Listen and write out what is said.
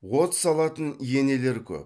от салатын енелер көп